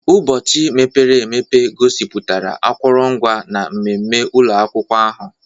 Ụbọchị mepere emepe gosipụtara akụrụngwa na mmemme ụlọ akwụkwọ ahụ.